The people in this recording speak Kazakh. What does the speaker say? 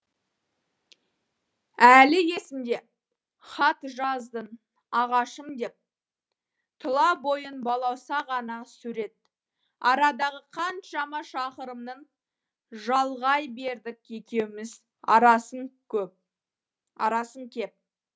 әлі есімде хат жаздың ағашым деп тұла бойың балауса ғана сурет арадағы қаншама шақырымның жалғай бердік екеуміз арасын кеп